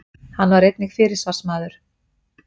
Hann var einnig fyrirsvarsmaður